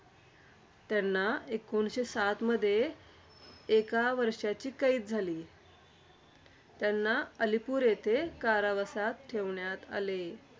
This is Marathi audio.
त्यांना एकोणीसशे सातमध्ये एका वर्षाची कैद झाली. त्यांना अलिपूर येथे कारावासात ठेवण्यात आले.